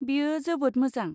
बेयो जोबोद मोजां।